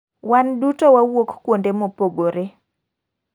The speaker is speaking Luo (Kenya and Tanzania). wan duto wawuok kuonde mopogore.